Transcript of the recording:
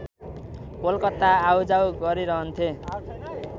कोलकाता आउजाउ गरिरहन्थे